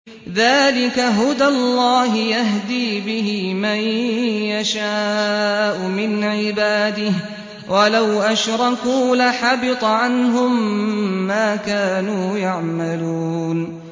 ذَٰلِكَ هُدَى اللَّهِ يَهْدِي بِهِ مَن يَشَاءُ مِنْ عِبَادِهِ ۚ وَلَوْ أَشْرَكُوا لَحَبِطَ عَنْهُم مَّا كَانُوا يَعْمَلُونَ